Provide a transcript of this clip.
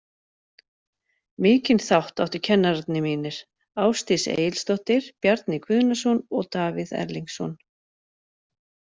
Mikinn þátt áttu kennarar mínir Ásdís Egilsdóttir, Bjarni Guðnason og Davíð Erlingsson.